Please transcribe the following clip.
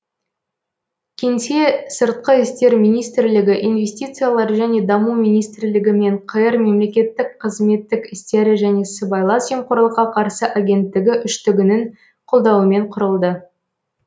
кеңсе сыртқы істер министрлігі инвестициялар және даму министрлігі мен қр мемлекеттік қызметтік істері және сыбайлас жемқорлыққа қарсы агенттігі үштігінің қолдауымен құрылды